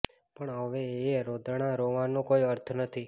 પણ હવે એ રોદણાં રોવાનો કોઈ અર્થ નથી